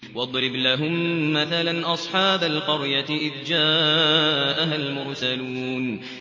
وَاضْرِبْ لَهُم مَّثَلًا أَصْحَابَ الْقَرْيَةِ إِذْ جَاءَهَا الْمُرْسَلُونَ